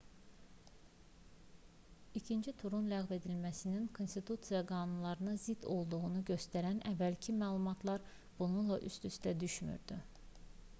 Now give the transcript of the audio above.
i̇kinci turun ləğv edilməsinin konstitusiya qanunlarına zidd olduğunu göstərən əvvəlki məlumatlar bununla üst-üstə düşmürdü